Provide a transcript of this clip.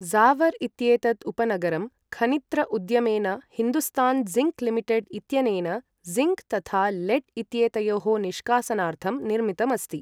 ज़ावर् इत्येतत् उपनगरं खनित्र उद्यमेन हिन्दुस्तान् ज़िङ्क् लिमिटेड् इत्यनेन जिङ्क् तथा लेड् इत्येतयोः निष्कासनार्थम् निर्मितम् अस्ति।